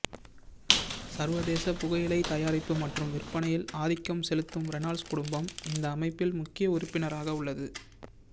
சர்வதேச புகையில் தயாரிப்பு மற்றும் விற்பனையில் ஆதிக்கம் செலுத்தும் ரெனால்ட்ஸ் குடும்பம் இந்த அமைப்பில் முக்கிய உறுப்பினராக உள்ளது